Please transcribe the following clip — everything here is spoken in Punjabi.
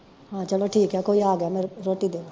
ਹਾਂ ਚਲੋ ਠੀਕ ਆ ਕੋਈ ਆਗਿਆ ਮੈਂ ਰੋਟੀ ਦੇਦਾਂ